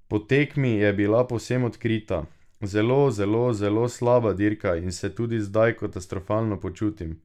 Po tekmi je bila povsem odkrita: "Zelo, zelo, zelo slaba dirka in se tudi zdaj katastrofalno počutim.